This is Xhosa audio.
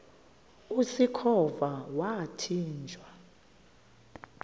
usikhova yathinjw a